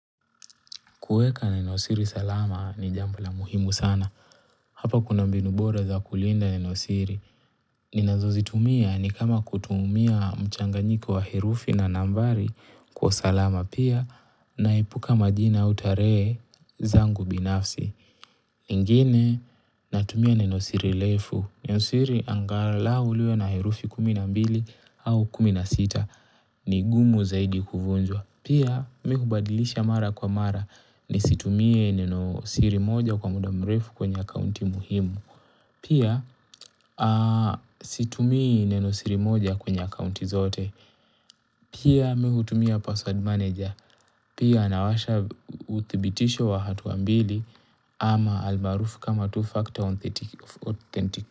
Kuweka nenosiri salama ni jambo la muhimu sana. Hapa kuna mbinu bora za kulinda nenosiri. Ninazozitumia ni kama kutumia mchanganyiko wa herufi na nambari kwa salama pia naepuka majina au tarehe zangu binafsi. Ingine natumia nenosiri refu. Nenosiri angalau liwe na herufi kuminambili au kuminasita. Ni gumu zaidi kuvunjwa. Pia mii hubadilisha mara kwa mara ni situmie neno siri moja kwa muda mrefu kwenye akaunti muhimu. Pia situmii neno siri moja kwenye akaunti zote. Pia mii hutumia password manager. Pia nawasha uthibitisho wa hatuambili ama almaarufu kama two factor authentic.